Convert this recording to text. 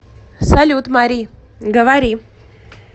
салют мари говори